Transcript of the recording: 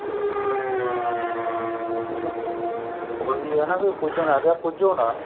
ਠੀਕ ਏ ਉਹੀ ਏ ਨਾ ਵੀ ਪੁੱਜਣ ਲੱਗ ਗਏ ਪੁੱਜੋ ਨਾ